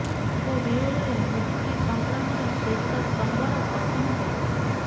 ତାଙ୍କ ବିୟୋଗରେ ମୁକ୍ତି ସଂଗ୍ରାମର ଶେଷ ସ୍ତମ୍ଭର ପତନ ହୋଇଛି